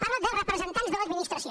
parla de representants de l’administració